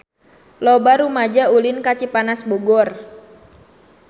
Loba rumaja ulin ka Cipanas Bogor